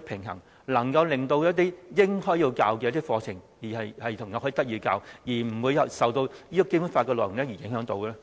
平衡，能夠令一些應該要教授的課程內容得以獲教授，不會受到教授《基本法》的安排所影響呢？